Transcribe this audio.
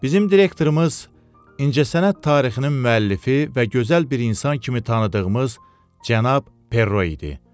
Bizim direktorımız incəsənət tarixinin müəllifi və gözəl bir insan kimi tanıdığımız cənab Perro idi.